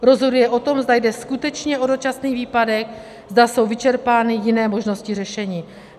Rozhoduje o tom, zda jde skutečně o dočasný výpadek, zda jsou vyčerpány jiné možnosti řešení.